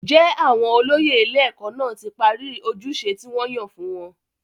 jẹ́ àwọn olóyè ilé-ẹ̀kọ́ náà ti parí ojúṣe tí wọ́n yàn fún wọn?